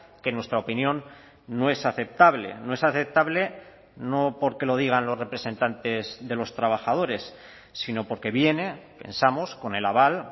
que en nuestra opinión no es aceptable no es aceptable no porque lo digan los representantes de los trabajadores sino porque viene pensamos con el aval